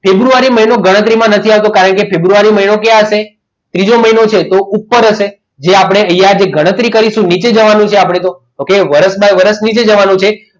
ફેબ્રુઆરી મહિનો ગણતરીમાં નથી આવતો કારણ કે ફેબ્રુઆરી મહિનો ક્યાં હશે બીજો મહિનો છે તો ઉપર હશે જે આપણે નીચેની ગણતરી કરીશું એટલે નીચે જવાનું છે આપણે તો okay વરસના વર્ષ નીચે જવાનું છે.